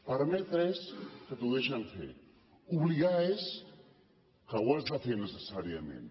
permetre és que t’ho deixen fer obligar és que ho has de fer necessàriament